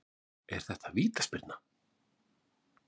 Er þetta vítaspyrna?